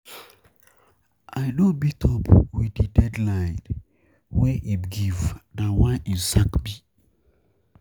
I no meet up wit di deadline di deadline wey im give, na why im sack me.